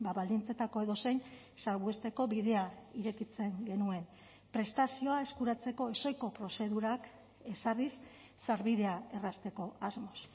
baldintzetako edozein salbuesteko bidea irekitzen genuen prestazioa eskuratzeko ezohiko prozedurak ezarriz sarbidea errazteko asmoz